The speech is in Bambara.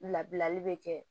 Labilali bɛ kɛ